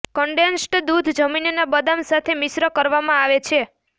condensed દૂધ જમીનના બદામ સાથે મિશ્ર કરવામાં આવે છે